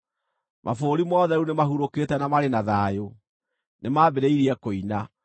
Mabũrũri mothe rĩu nĩmahurũkĩte na marĩ na thayũ; nĩmambĩrĩirie kũina.